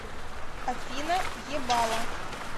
афина ебало